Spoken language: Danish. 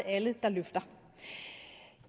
alle der løfter